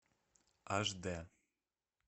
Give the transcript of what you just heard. аш д